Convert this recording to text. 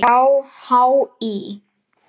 hjá HÍ.